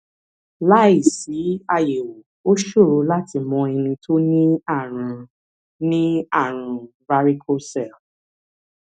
láìsí àyẹwò ó ṣòro láti mọ ẹni tó ní ààrùn ní ààrùn varicocele